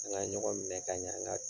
An ka ɲɔgɔn minɛ ka ɲɛ an ka